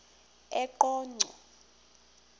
eqonco